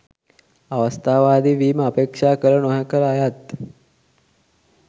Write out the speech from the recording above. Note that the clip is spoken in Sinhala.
අවස්ථාවාදී වීම අපේක්ෂා කළ නොකළ අයත්